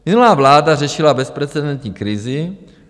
Minulá vláda řešila bezprecedentní krizi.